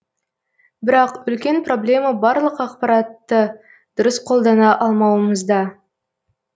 бірақ үлкен проблема барлық ақпаратты дұрыс қолдана алмауымызда